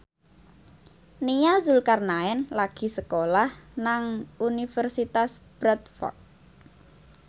Nia Zulkarnaen lagi sekolah nang Universitas Bradford